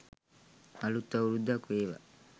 අලුත් අවුරුද්දක් වේවා.